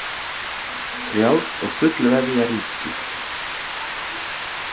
Frjálst og fullveðja ríki.